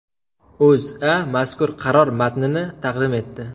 O‘zA mazkur qaror matnini taqdim etdi .